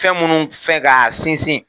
Fɛn minnu fɛ ka sinsin